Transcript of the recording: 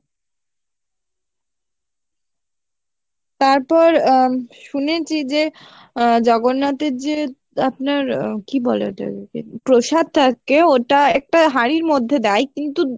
তারপর আহ শুনেছি যে জগন্নাথের যে আপনার আহ কি বলে ওটার প্রসাদটাকে ওটা একটা হাঁড়ির মধ্যে দেয় কিন্তু